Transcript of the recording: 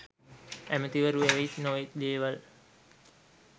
ඇමතිවරු ඇවිත් නොයෙක් දේවල්